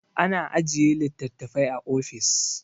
ana ajiye litattafai a ofis